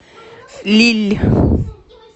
лилль